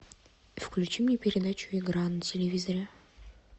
включи мне передачу игра на телевизоре